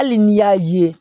Hali n'i y'a ye